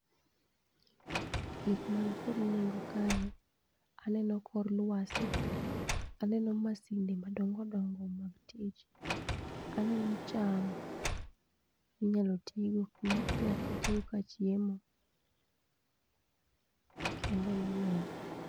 Gik mankod nengo kae aneno kor lwasi, aneno masinde madongodongo mag tich, aneno cham minyalo tigo inyaketgo ka chiemo kendo emaneno.